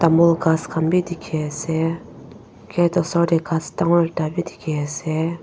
tamul ghas khan bi dikhiase gate osor tae ghas dangor ekta bidikhiase.